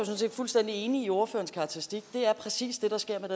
set fuldstændig enig i ordførerens karakteristik det er præcis det der sker med